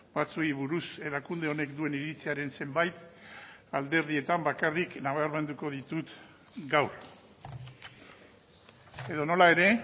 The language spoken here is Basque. batzuei buruz erakunde honek duen iritziaren zenbait alderdietan bakarrik nabarmenduko ditut gaur edonola ere